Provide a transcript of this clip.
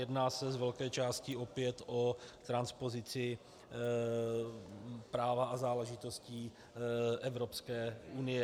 Jedná se z velké části opět o transpozici práva a záležitostí Evropské unie.